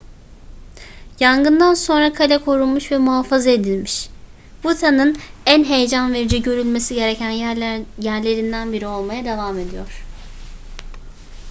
yangından sonra kale korunmuş ve muhafaza edilmiş bhutan'ın en heyecan verici görülmesi gereken yerlerinden biri olmaya devam ediyor